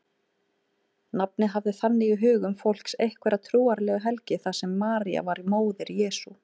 Nafnið hafði þannig í hugum fólks einhverja trúarlega helgi þar sem María var móðir Jesú.